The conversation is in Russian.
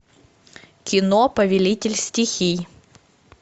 кино повелитель стихий